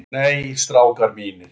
Nei, strákar mínir.